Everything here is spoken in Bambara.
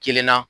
Kelenna